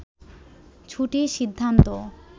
ছুটির সিদ্ধান্ত